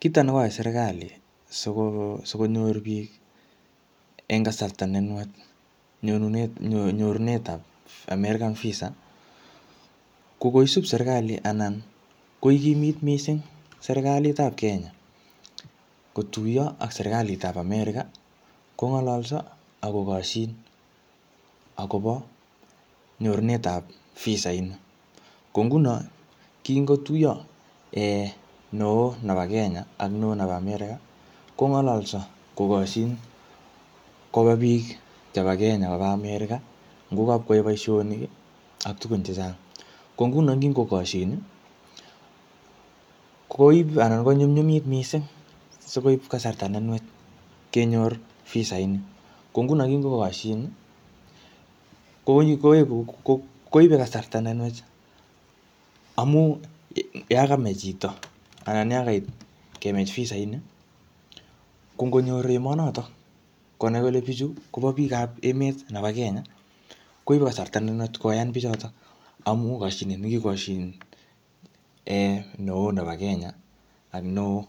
Kito nekoyai serikali, siko-sikonyor biik eng kasarta nenwach nyorunet-nyorunetab American visa ko koisub serikali anan koikimit missing serikalitap Kenya kotuyo ak serikalit ap America, kongololso, akkokoshin akobo nyorunetab visa ini. Ko nguno, kingotuyo um neoo nebo Kenya, ak neoo nebo America, kongololso kokoshin koba biik chebo Kenya koba America. Ngokapkwae boisonik, ak tugun chechang. Ko nguno ngikokoshin, koib anan konyumnyumit missing, sikoip kasarta nenwach kenyor visait ni. Ko nguno kingokoshin, ko koeku um koibe kasarta ne nwach, amu yakamei chito, anan yakait kemach visaini, ko ngonyor emonotok konai kole bichu koba biikap emet nebo Kenya, koibe kasrta ne nwach koyan bichotok. Aamu kashinet ne kikoshin um neeoo nebo Kenya, ak neo